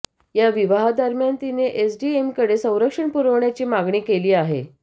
या विवाहादरम्यान तिने एसडीएमकडे संरक्षण पुरवण्याची मागणी केली आहे